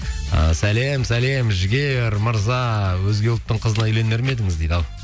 і сәлем сәлем жігер мырза өзге ұлттың қызына үйленер ме едіңіз дейді ал